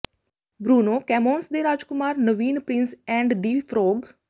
Bruno ਕੈਮੋਂਸ ਦੇ ਰਾਜਕੁਮਾਰ ਨਵੀਨ ਪ੍ਰਿੰਸ ਐਂਡ ਦਿ ਫਰੌਗ